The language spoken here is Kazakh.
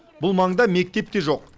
бұл маңда мектеп те жоқ